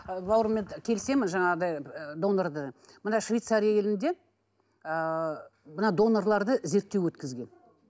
ы бауырыммен ы келісемін жаңағындай ы донорды мына швецария елінде ыыы мына донорларды зерттеу өткізген